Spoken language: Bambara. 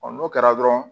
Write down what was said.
n'o kɛra dɔrɔn